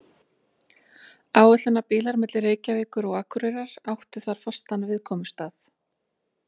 Áætlunarbílar milli Reykjavíkur og Akureyrar áttu þar fastan viðkomustað.